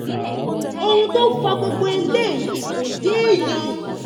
ohun tó fa gbogbo eléyìí kò yéèyàn